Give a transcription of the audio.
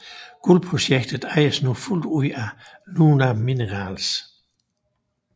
Guldprojektet ejes nu fuldt af NunaMinerals